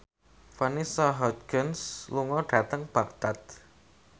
Vanessa Hudgens lunga dhateng Baghdad